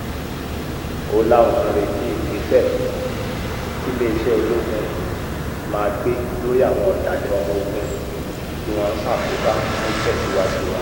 ó láwọn ń retí ìgbésẹ̀ tiléeṣẹ́ ológun máa gbé lórí àwọn ọ̀dàlẹ̀ ọmọọ̀gùn tí wọ́n ń ṣàkóbá fún ìtẹ̀síwájú wọn